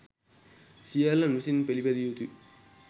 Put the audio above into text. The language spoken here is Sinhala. සියල්ලන් විසින් පිළිපැදිය යුතු